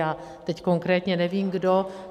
Já teď konkrétně nevím kdo.